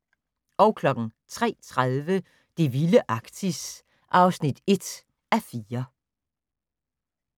03:30: Det vilde Arktis (1:4)